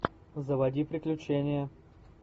заводи приключения